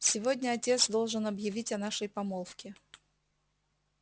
сегодня отец должен объявить о нашей помолвке